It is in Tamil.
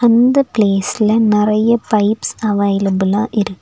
அந்த பிளேஸ்ல நெறைய பைப்ஸ் அவைலபுல்லா இருக்கு.